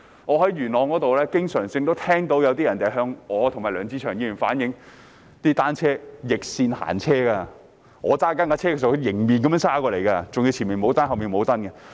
我在元朗經常聽到有人向我和梁志祥議員反映市民踏單車時逆線行車，當我駕車時他們可以迎面而來，還要單車的前後都沒有安裝指示燈。